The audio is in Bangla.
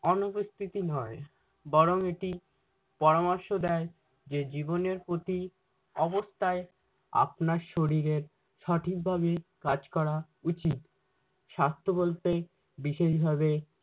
অনুপস্থিতি নয় বরং এটি পরামর্শ দেয় যে জীবনের প্রতি অবস্থায় আপনার শরীরের সঠিকভাবে কাজ করা উচিত। স্বাস্থ্য বলতে বিশেষভাবে